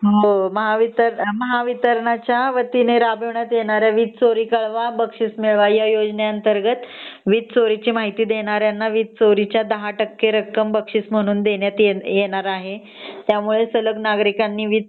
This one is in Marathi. हो ते तर महावितरणच्या वतीने राबवत येणाऱ्या "वीज चोरी कळवा आणि बक्षीस मिळवा" ह्या योजने अंतर्गत वीज चोरीची माहिती देणाऱ्या ला वीज चोरीची रक्कम चे १० टक्के रक्कम देण्यात येणार आहे त्यामुळे सलग नागरिकांनी वीज